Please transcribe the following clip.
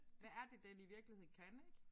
Hvad er det den i virkeligheden kan ik